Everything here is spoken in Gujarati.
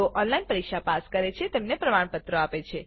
જેઓ ઓનલાઈન પરીક્ષા પાસ કરે છે તેમને પ્રમાણપત્રો આપે છે